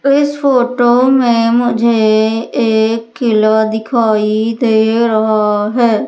इस फोटो में मुझे एक किलवा दिखाई दे रहा है।